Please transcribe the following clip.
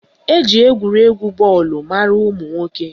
Eji egwuregwu bọọlụ mara ụmụnwoke